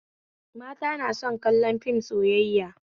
Mata na son kallon fim sayayya